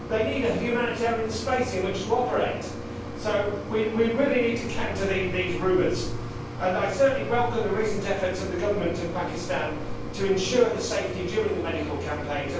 They need a humanitarian space in which to operate, so we really need to counter these rumours and certainly welcome the recent efforts of the Government of Pakistan to ensure their safety during the medical campaigns.